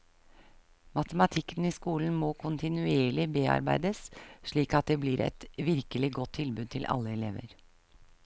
Matematikken i skolen må kontinuerlig bearbeides slik at det blir et virkelig godt tilbud til alle elever.